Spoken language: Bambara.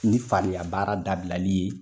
Ni faliya baara dabilali ye.